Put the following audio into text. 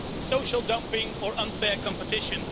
social dumping or unfair competition.